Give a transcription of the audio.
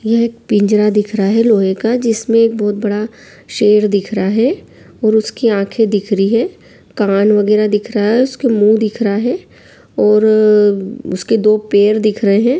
यह एक पिंजरा दिख रहा है लोहे का जिसमे एक बहुत बड़ा शेर दिख रहा है और उसकी आँखे दिख रही है कान वगेरा दिख रहा है उसके मुँह दिख रहा है। और उसके दो पैर दिख रहे हैं।